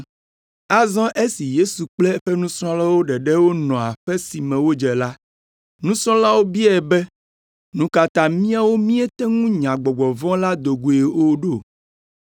Azɔ esi Yesu kple eƒe nusrɔ̃lawo ɖeɖe wonɔ aƒe si me wodze la, nusrɔ̃lawo biae be, “Nu ka ta míawo míete ŋu nya gbɔgbɔ vɔ̃ la do goe o ɖo?”